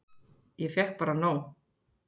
Ég fékk bara nóg